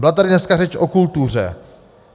Byla tady dneska řeč o kultuře.